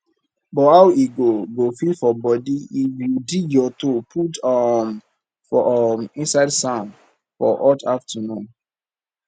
but how e go go feel for body if you dig your toe put um for um inside sand for hot afternoon